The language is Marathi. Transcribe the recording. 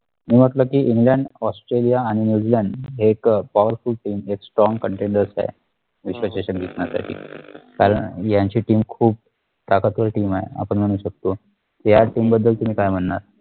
मी म्हंटल कि इंग्लंड ऑस्ट्रेलिया आणि न्यूजीलँड हे एक powerful teamstrong containders आहेत विश्वचषक जिंकण्यासाठी कारण यांची team खूप ताकदवर team असं म्हणू शकतो या team बद्दल तुम्ही काय म्हणनार